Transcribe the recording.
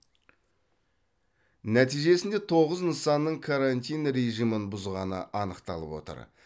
нәтижесінде тоғыз нысанның карантин режімін бұзғаны анықталып отыр